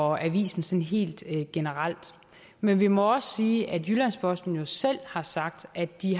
og avisen sådan helt generelt men vi må også sige at jyllands posten jo selv har sagt at de